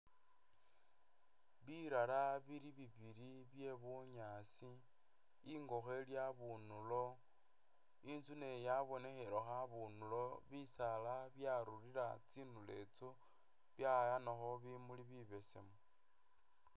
Birara bili bibili bye bunyaasi, ingokho ili abunulo, inzu nayo yabonekhelekho abunulo, bisaala byarurira tsindulo itsyo byayanakho bimuli bibesemu.